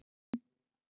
Þín Camilla Rós.